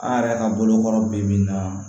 An yɛrɛ ka bolokɔrɔ bi bi min na